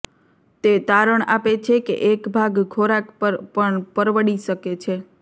તે તારણ આપે છે કે એક ભાગ ખોરાક પર પણ પરવડી શકે છે